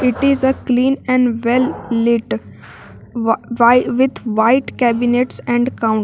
it is a clean and well lit wa why with white cabinets and count--